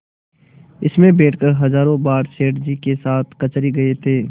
इसमें बैठकर हजारों बार सेठ जी के साथ कचहरी गये थे